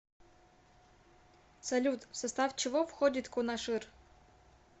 салют в состав чего входит кунашир